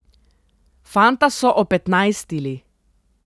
Fanta so opetnajstili.